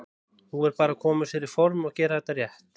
Nú er bara að koma sér í form og gera þetta rétt.